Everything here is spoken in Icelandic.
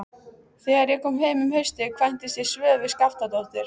Þegar ég kom heim um haustið kvæntist ég Svövu Skaftadóttur.